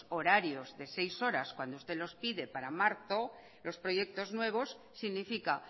horarios de seis horas cuando usted los pide para marzo los proyectos nuevos significa